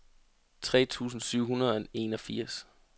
tre tusind syv hundrede og enogfirs